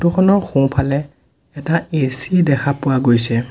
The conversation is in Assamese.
ফটোখনৰ সোঁফালে এটা এ_চি দেখা পোৱা গৈছে।